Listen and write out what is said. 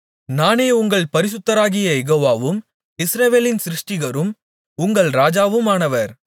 நானே உங்கள் பரிசுத்தராகிய யெகோவாவும் இஸ்ரவேலின் சிருஷ்டிகரும் உங்கள் ராஜாவுமானவர்